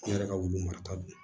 Ne yɛrɛ ka wulu marata don